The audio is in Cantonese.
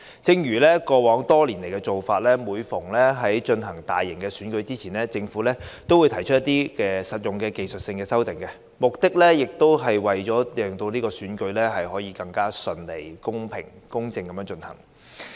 正如過去多年的做法，每逢舉行大型選舉前，政府都會提出一些實用的技術性修訂，目的是為了使選舉可以更順利、公平公正地進行。